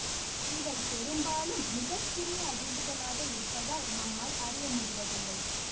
இவை பெரும்பாலும் மிக சிறிய அதிர்வுகளாக இருப்பதால் நம்மால் அறிய முடிவதில்லை